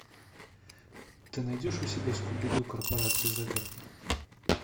ты найдешь у себя скуби ду корпорация загадка